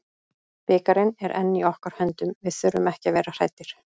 Bikarinn er enn í okkar höndum, við þurfum ekki að vera hræddir.